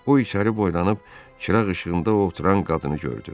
O içəri boylanıb çırağ işığında oturan qadını gördü.